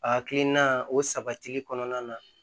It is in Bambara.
A hakilina o sabatili kɔnɔna na